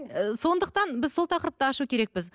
ы сондықтан біз сол тақырыпты ашу керекпіз